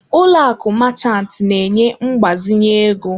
Ụlọ akụ Marchant na-enye mgbazinye ego.